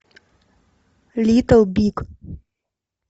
литл биг